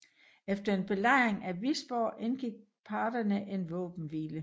Efter en belejring af Visborg indgik parterne en våbenhvile